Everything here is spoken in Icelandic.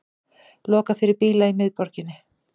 Lokað fyrir bíla í miðborginni